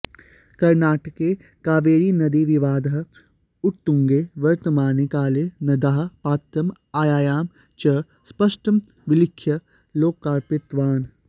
कर्णाटके कावेरीनदीविवादः उत्तुङ्गे वर्तमाने काले नद्याः पात्रम् आयामं च स्पष्टं विलिख्य लोकार्पितवान्